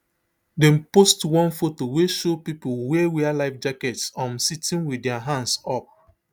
dem post one photo wey show pipo wey wear life jackets um sitting with dia hands up